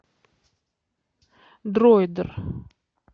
дроидер